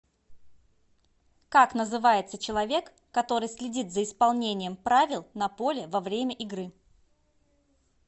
как называется человек который следит за исполнением правил на поле во время игры